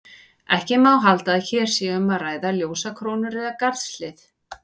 Ekki má halda að hér sé um að ræða ljósakrónur eða garðshlið.